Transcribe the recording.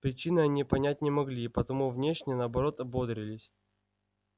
причины они понять не могли и потому внешне наоборот бодрились